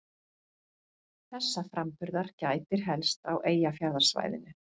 Þessa framburðar gætir helst á Eyjafjarðarsvæðinu.